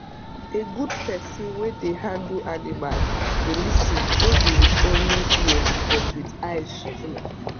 a good person wey dey handle animal dey lis ten no be with only ear but with eyes too